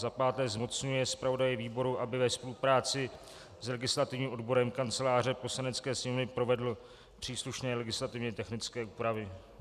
Za páté zmocňuje zpravodaje výboru, aby ve spolupráci s legislativním odborem Kanceláře Poslanecké sněmovny provedl příslušné legislativně technické úpravy.